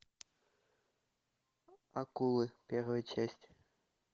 акулы первая часть